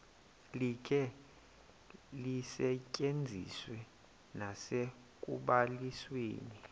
likhe lisetyenziswe nasekubalisweni